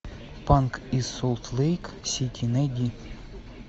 панк из солт лейк сити найди